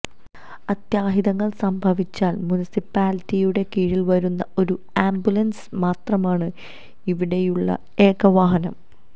അത്യാഹിതങ്ങള് സംഭവിച്ചാല് മുനിസിപ്പാലിറ്റിയുടെ കീഴില് വരുന്ന ഒരു ആംബുലന്സ് മാത്രമാണ് ഇവിടെയുള്ള ഏക വാഹനം